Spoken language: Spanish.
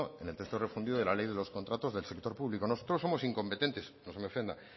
en el texto refundido de la ley de los contratos del sector público nosotros somos incompetentes no se me ofenda